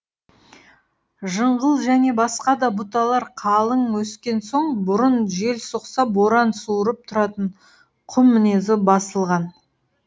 жыңғыл және басқа да бұталар қалың өскен соң бұрын жел соқса боран суырып тұратын құм мінезі басылған